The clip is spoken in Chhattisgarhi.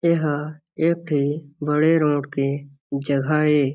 ए ह एक ठी बड़े रोड के जगह हे।